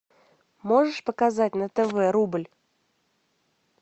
можешь показать на тв рубль